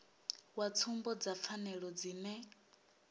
wa tsumbo dza pfanelo dzine